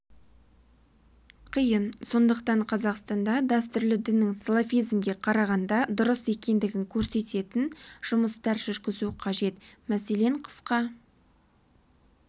қиын сондықтан қазақстанда дәстүрлі діннің салафизмге қарағанда дұрыс екендігін көрсететін жұмыстар жүргізу қажет мәселен қысқа